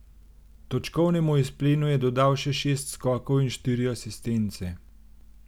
Točkovnemu izplenu je dodal še šest skokov in štiri asistence.